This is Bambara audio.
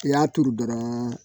I y'a turu dɔrɔn